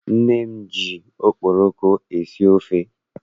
Nne m ji okporoko esi ofe.